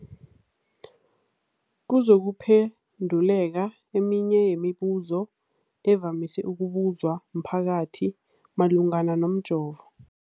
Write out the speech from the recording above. kuzokuphe nduleka eminye yemibu zo evamise ukubuzwa mphakathi malungana nomjovo.